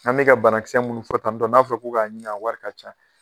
An bɛ ka bana kisɛ munnu fɔ tan tɔ n'a fɔra ko k'a ɲi a wari ka ca